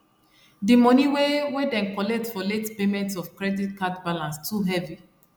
d moni wey wey dem collect for late payment of credit card balance too heavy